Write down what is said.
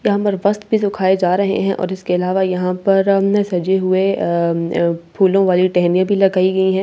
यहां पर वस्‍त्र भी सुखाये जा रहे हैं और इसके अलावा यहां पर हमने सजाये हुए आ आ फूलों वाली टहनियां भी लगाई गई है ।